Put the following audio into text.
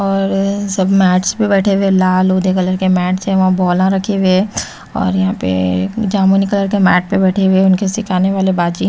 और सब मैट्स पे बैठे हुए लाल होते कलर के मैट से वहां बोला रखे हुए है और यहां पे जामुनी कलर के मैट पे बैठे हुए उनके सिखाने वाले बाजी--